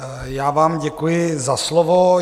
Já vám děkuji za slovo.